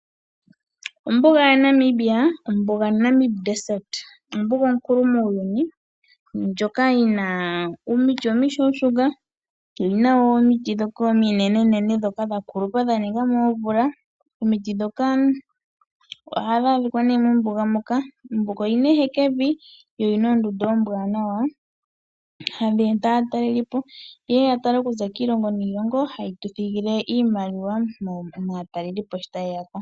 Ombuga yaNamibia Ombuga yaNamib ombuga onkulu muuyuni ndjoka yi na omiti omishuushuka. Oyi na wo omiti ndhoka ominenene dha kulupa dha ninga mo oomvula. Omiti ndhoka ohadhi adhika mombuga moka. Ombuga oyi na ehekevi noyi na oondundu oombwaanawa hadhi eta aatalelipo, yeye ya tale oku za kiilongo niilongo, haye tu thigile iimaliwa maatelelipo shi taye ya ko.